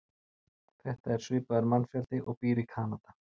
Þetta er svipaður mannfjöldi og býr í Kanada.